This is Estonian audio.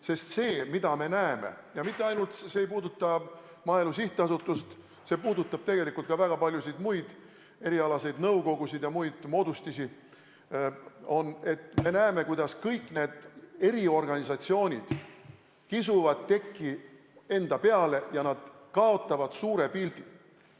Sest see, mida me näeme – ja see ei puuduta mitte ainult Maaelu Edendamise Sihtasutust, see puudutab tegelikult ka väga paljusid muid erialaseid nõukogusid ja muid moodustisi –, on, kuidas kõik need eriorganisatsioonid kisuvad tekki enda peale ja on kaotanud suure pildi.